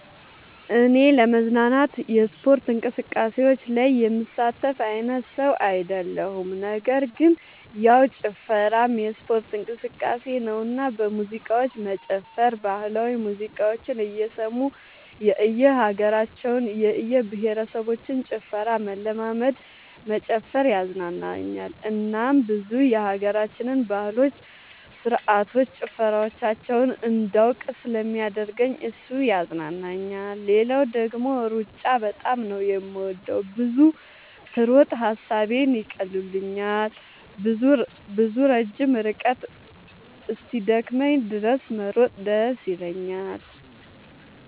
እኔ ለመዝናናት የስፖርት እንቅስቃሴዎች ላይ የምሳተፍ አይነት ሰው አይደለሁም ነገር ግን ያው ጭፈራም የስፖርት እንቅስቃሴ ነውና በሙዚቃዎች መጨፈር ባህላዊ ሙዚቃዎችን እየሰሙ የእየሀገራቸውን የእየብሄረሰቦችን ጭፈራ መለማመድ መጨፈር ያዝናናኛል እናም ብዙ የሀገራችንን ባህሎች ስርዓቶች ጭፈራዎቻቸውን እንዳውቅ ስለሚያደርገኝ እሱ ያዝናናኛል። ሌላው ደግሞ ሩጫ በጣም ነው የምወደው። ብዙ ስሮጥ ሐሳቦቼን ይቀሉልኛል። ብዙ ረጅም ርቀት እስኪደክመኝ ድረስ መሮጥ ደስ ይለኛል።